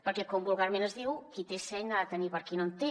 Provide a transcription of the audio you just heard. perquè com vulgarment es diu qui té seny n’ha de tenir per qui no en té